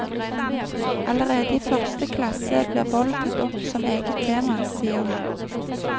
Allerede i første klasse blir vold tatt opp som eget tema, sier han.